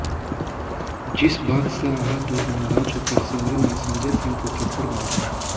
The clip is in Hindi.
जिस बात से आहत और नाराज होकर सिमरन ने संजय सिंह को थप्पड़ मारा